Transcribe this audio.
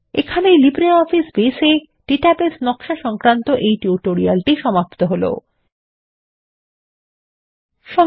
এখানেই LibreOffice Base এ database নকশা সংক্রান্ত টিউটোরিয়াল এর দ্বিতীয় ভাগ সমাপ্ত হলো